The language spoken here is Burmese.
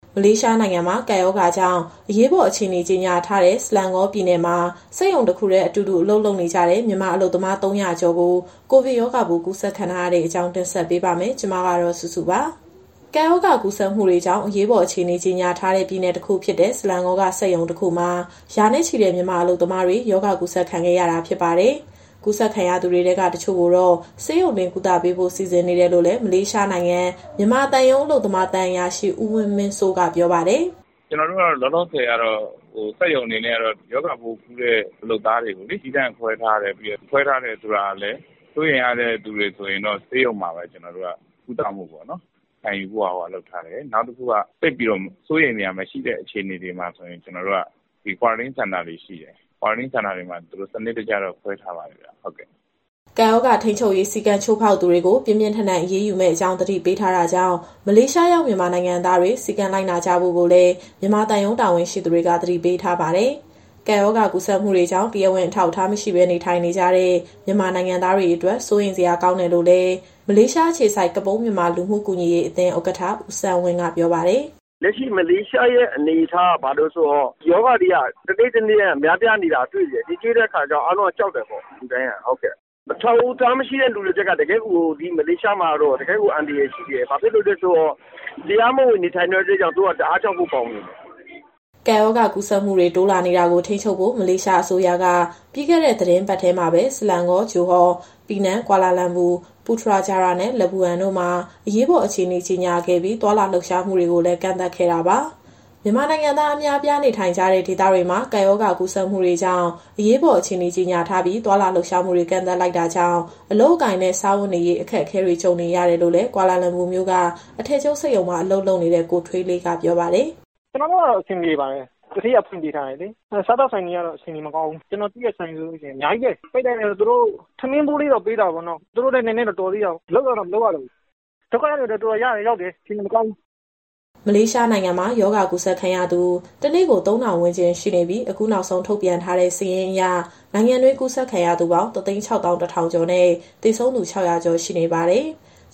မလေးရှားနိုင်ငံမှာ ကပ်ရောဂါကြောင့် အရေးပေါ်အခြေအနေကြေညာထားတဲ့ ဆလန်ကောပြည်နယ်မှာ စက်ရုံတခုတည်း အတူတူ အလုပ်လုပ်နေကြတဲ့ မြန်မာအလုပ်သမား ၃၀၀ ကျော် ကိုဗစ်ရောဂါပိုး ကူးစက်ခံထားရတဲ့အကြောင်း ဗွီအိုအေမြန်မာပိုင်း သတင်းထောက် မစုစုက တင်ဆက်ပေးပါမယ်။ ကပ်ရောဂါကူးစက်မှုတွေကြောင့် အရေးပေါ်အခြေအနေ ကြေညာထားတဲ့ ပြည်နယ်တခုဖြစ်တဲ့ ဆလန်ကောက စက်ရုံတခုမှာ ရာနဲ့ချီတဲ့ မြန်မာအလုပ်သမားတွေ ရောဂါကူးစက်ခံခဲ့ရတာ ဖြစ်ပါတယ်။ ကူးစက်ခံရသူတွေထဲက တချို့ကိုတော့ ဆေးရုံတင် ကုသပေးဖို့ စီစဉ်နေတယ်လို့လည်း မလေးရှားနိုင်ငံ မြန်မာသံရုံးက အလုပ်သမားသံအရာရှိ ဦးဝင်းမင်းစိုးက ပြောပါတယ်။ "လောလောဆယ်ကတော့ စက်ရုံအနေနဲ့ကတော့ ရောဂါပိုးကူးတဲ့ လုပ်သားတွေကို သီးသန့်ခွဲထားတယ်။ ခွဲထားတယ်ဆိုတာလည်း စိုးရိမ်ရတဲ့သူတွေဆိုရင်တော့ ဆေးရုံမှာပဲကုသမှုခံယူဖို့ လုပ်ထားတယ်။ နောက်တခုက သိပ်ပြီးတော့ စိုးရိမ်စရာမရှိတဲ့ အခြေအနေမှာဆိုရင် Quarantine Center တွေရှိတယ်။ အဲဒီ Quarantine Center တွေမှာ သူတို့ကို စနစ်တကျတော့ ခွဲထားပါတယ်ဗျ။" ကပ်ရောဂါထိန်းချုပ်ရေး စည်းကမ်း ချိုးဖောက်သူတွေကို ပြင်းပြင်းထန်ထန် အရေးယူမယ့်အကြောင်း သတိပေးထားတာကြောင့် မလေးရှားရောက် မြန်မာနိုင်ငံသားတွေ စည်းကမ်းလိုက်နာကြဖို့လည်း မြန်မာသံရုံးတာဝန်ရှိသူတွေက သတိပေးထားပါတယ်။ ကပ်ရောဂါကူးစက်မှုတွေကြောင့် တရားဝင် အထောက်အထား မရှိဘဲ နေထိုင်နေကြတဲ့ မြန်မာနိုင်ငံသားတွေအတွက် စိုးရိမ်စရာ ကောင်းတယ်လို့လည်း မလေးရှားအခြေစိုက် ကပုန်းမြန်မာလူမှုကူညီရေးအသင်းဥက္ကဋ္ဌ ဦးဆန်းဝင်းကပြောပါတယ်။ "လက်ရှိ မလေးရှားရဲ့အနေအထားက ဘယ်လိုလဲဆိုတော့ ရောဂါတွေက တနေ့ထက်တနေ့ များပြားနေတာတွေ့တယ်လေ။ တွေ့တဲ့အခါကျတော့ အားလုံးကကြောက်တယ်ပေါ့။ အထောက်အထားမရှိတဲ့သူတွေအတွက်က ဒီမလေးရှားမှာကတော့ တကယ့်ကိုအန္တရာယ်ရှိတယ်။ ဘာဖြစ်လို့လဲဆိုတော့ တရားမဝင်နေထိုင်တဲ့အတွက်ကြောင့် သူတို့က တအားကြောက်ဖို့ကောင်းနေတယ်။" ကပ်ရောဂါကူးစက်မှုတွေ တိုးလာနေတာကို ထိန်းချုပ်ဖို့ မလေးရှား အစိုးရက ပြီးခဲ့တဲ့ သီတင်းပတ်ထဲမှာပဲ Selangor, Johor, Penang, Kuala Lumpur, Putrajaya နဲ့ Labuan တို့မှာ အရေးပေါ် အခြေအနေ ကြေညာခဲ့ပြီး သွားလာလှုပ်ရှားမှုတွေကိုလည်း ကန့်သတ်ခဲ့တာပါ။ မြန်မာနိုင်ငံသား အများအပြားနေထိုင်ကြတဲ့ ဒေသတွေမှာ ကပ်ရောဂါကူးစက်မှုတွေကြောင့် အရေးပေါ် အခြေအနေ ကြေညာထားပြီး သွားလာလှုပ်ရှားမှုတွေ ကန့်သတ်လိုက်တာကြောင့် အလုပ်အကိုင်နဲ့ စားဝတ်နေရေး အခက်အခဲတွေ ကြုံနေရတယ်လို့လည်းကွာလာလမ်ပူမြို့က အထည်ချုပ်စက်ရုံမှာ အလုပ်လုပ်နေတဲ့ ကိုထွေးလေး ကပြောပါတယ်။ "ကျနော်တို့ကတော့ အဆင်ပြေပါတယ်။ သူဌေးက ဖွင့်ပေးထားတယ်လေ။ စားသောက်ဆိုင်တွေကတော့ အခြေအနေမကောင်းဘူး။ ကျနော်သိတဲ့ဆိုင်ဆိုလို့ရှိရင် (မြန်မာတွေ) အများကြီးပဲ။ ဆိုင်ပိတ်လိုက်တော့ သူတို့ကို ထမင်းဖိုးလေးတော့ပေးတာပေါ့နော်။ သူတို့လည်း နည်းနည်းတော့တော်သေးတာပေါ့။ အလုပ်ကတော့ မလုပ်ရတော့ဘူး။ ဒုက္ခရောက်နေကြတဲ့သူတွေကတော့ တော်တော်ရောက်တယ်၊ အခြေအနေမကောင်းဘူး။ " မလေးရှားနိုင်ငံမှာ ရောဂါကူးစက်ခံရသူ တနေ့ကို ၃,၀၀၀ ဝန်းကျင်ရှိနေပြီး၊ အခုနောက်ဆုံးထုတ်ပြန်ထားတဲ့စာရင်းအရ နိုင်ငံတွင်း ကူးစက်ခံရသူပေါင်း ၁၆၁,၀၀၀ ကျော်နဲ့ သေဆုံးသူ ၆၀၀ ကျော်ရှိနေပါတယ်။